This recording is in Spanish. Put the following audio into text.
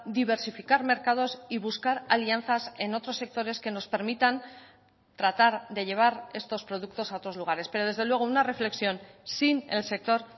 diversificar mercados y buscar alianzas en otros sectores que nos permitan tratar de llevar estos productos a otros lugares pero desde luego una reflexión sin el sector